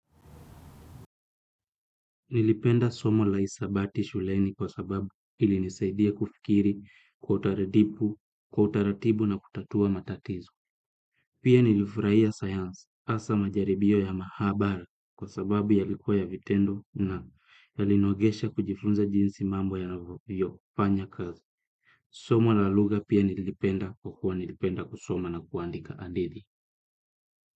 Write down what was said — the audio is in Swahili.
Nilipenda somo la hisabati shuleni kwa sababu ili nisaidia kufikiri, kwa utaratibu, kwa utaratibu na kutatua matatizo. Pia nilifurahia science asa majaribio ya mahabara kwa sababu yalikuwa ya vitendo na yalinogesha kujifunza jinsi mambo yanavyo, fanya kazi. Somo la luhga pia nilipenda kwakua nilipenda kusoma na kuandika adithi.